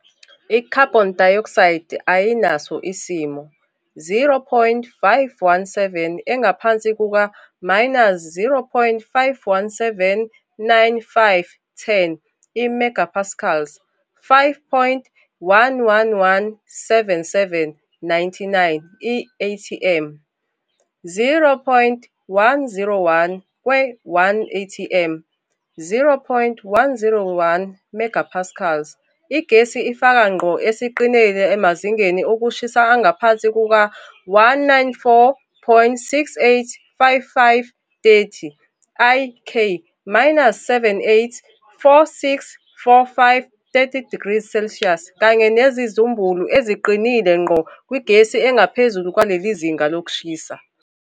I-Carbon dioxide ayinaso isimo 0.517 engaphansi kuka-0.517 95, 10, I-MPa, 5.11177, 99, i-atm. 0.101 kwe-1 atm, 0.101 MPa, igesi ifaka ngqo esiqinile emazingeni okushisa angaphansi kuka- 194.6855, 30, I-K, -78.464530, degrees Celsius, kanye nezimbumbulu eziqinile ngqo kwigesi engaphezulu kwaleli zinga lokushisa.